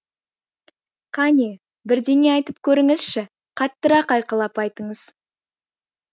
кәне бірдеңе айтып көріңізші қаттырақ айқайлап айтыңыз